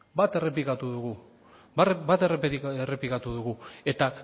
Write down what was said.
bat errepikatu dugu eta